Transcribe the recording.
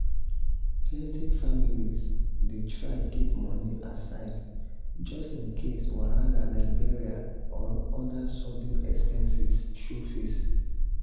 plenty families dey try keep money aside just in case wahala like burial or other sudden expenses show face.